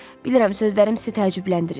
Bilirəm, sözlərim sizi təəccübləndirir.